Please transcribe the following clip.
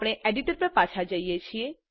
આપણા એડિટર પર પાછા જઈએ